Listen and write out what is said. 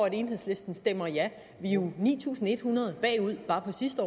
at enhedslisten stemmer ja vi er jo ni tusind en hundrede bagud bare fra sidste